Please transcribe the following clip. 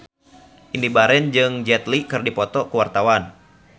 Indy Barens jeung Jet Li keur dipoto ku wartawan